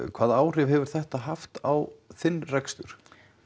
hvaða áhrif hefur þetta haft á þinn rekstur